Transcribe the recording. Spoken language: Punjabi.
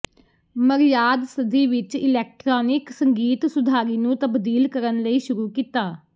ਮਰਯਾਦ ਸਦੀ ਵਿਚ ਇਲੈਕਟ੍ਰਾਨਿਕ ਸੰਗੀਤ ਸੁਧਾਰੀ ਨੂੰ ਤਬਦੀਲ ਕਰਨ ਲਈ ਸ਼ੁਰੂ ਕੀਤਾ